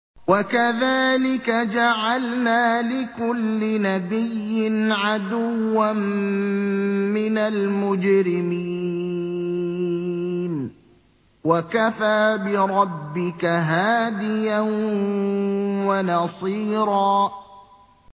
وَكَذَٰلِكَ جَعَلْنَا لِكُلِّ نَبِيٍّ عَدُوًّا مِّنَ الْمُجْرِمِينَ ۗ وَكَفَىٰ بِرَبِّكَ هَادِيًا وَنَصِيرًا